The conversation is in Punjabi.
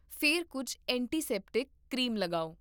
ਫਿਰ ਕੁੱਝ ਐਂਟੀਸੈਪਟਿਕ ਕਰੀਮ ਲਗਾਓ